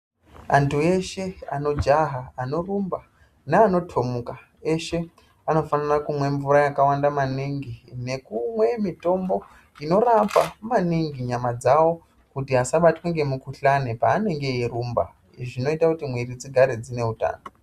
Antu eshe anojaha anorumba neanotomuka eshe anofanira kumwa mvura yakawanda maningi nekumwe mitombo inorapa maningi nyama dzavo kuti asabatwa ngemukuhlani paanenge eyirumba zvinoita kuti mwiri dzigare dzine utano.